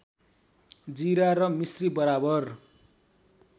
जिरा र मिस्री बराबर